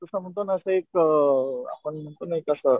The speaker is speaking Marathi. जस म्हणतो ना असं एक आपण म्हणतो ना एक असं